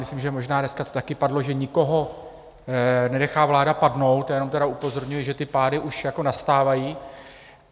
Myslím, že možná dneska to taky padlo, že nikoho nenechá vláda padnout, já jenom tedy upozorňuji, že ty pády už nastávají.